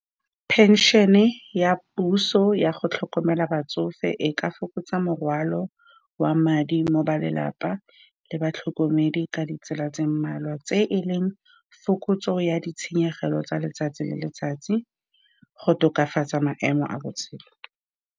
Pension-e ya puso ya go tlhokomela batsofe e ka fokotsa morwalo wa madi mo go ba lelapa le batlhokomedi ka ditsela tse mmalwa, tse e leng fokotsego ya ditshenyegelo tsa letsatsi le letsatsi, go tokafatsa maemo a botshelo.